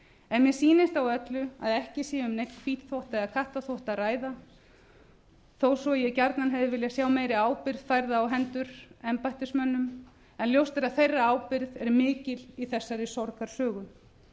en mér sýnist á öllu að ekki sé um neinn hvítþvott eða kattarþvott að ræða þó svo ég gjarnan hefði viljað sjá meiri ábyrgð færða á hendur embættismönnum en ljóst er a þeirra ábyrgð er mikil í þessari sorgarsögu ég